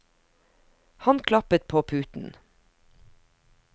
Han klappet på puten.